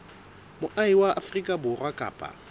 moahi wa afrika borwa kapa